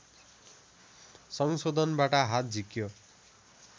संशोधनबाट हात झिक्यो